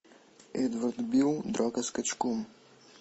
эдвард бил драка с качком